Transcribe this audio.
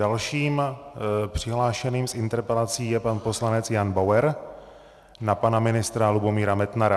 Dalším přihlášeným s interpelací je pan poslanec Jan Bauer na pana ministra Lubomíra Metnara.